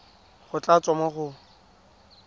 go tla tswa mo go